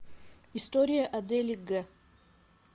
история адели г